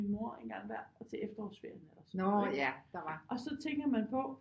Min mor en gang hver til efterårsferien eller sådan noget ikke og så tænker man på